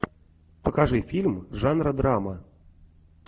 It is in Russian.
покажи фильм жанра драма